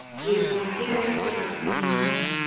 Ég er búinn að gera upp við Drottin minn og herra.